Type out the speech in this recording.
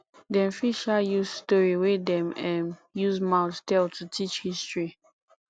dem fit um use story wey dem um use mouth tell to teach history